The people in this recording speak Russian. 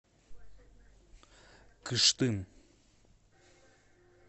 кыштым